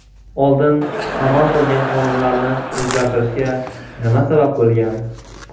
Oldin amal qilgan qonunlarni o‘zgartirishga nima sabab bo‘lgan?